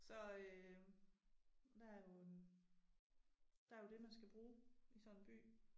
Så øh der jo en der jo det man skal bruge i sådan en by